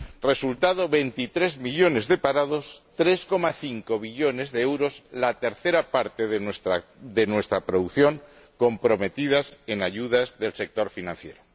Resultado 23 millones de parados y 3,5 billones de euros —la tercera parte de nuestra producción— comprometidos en ayudas al sector financiero.